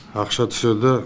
ақша түседі